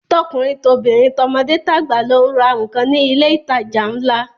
Tọkùnrin tobìnrin, tọmọdé tàgbà ló ń ra nǹkan ní ilé ìtajà ńlá